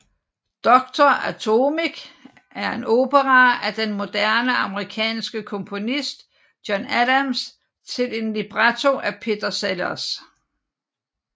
Doctor Atomic er en opera af den moderne amerikanske komponist John Adams til en libretto af Peter Sellars